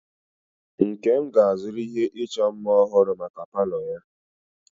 Nkem ga-azụrụ ihe ịchọ mma ọhụrụ maka palo ya.